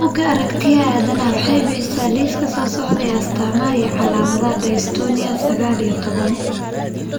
Bugaa Aaragtiyaha Aadanaha waxay bixisaa liiska soo socda ee astamaha iyo calaamadaha Dystonia sagal iyo toban.